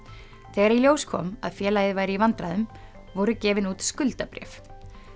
þegar í ljós kom að félagið væri í vandræðum voru gefin út skuldabréf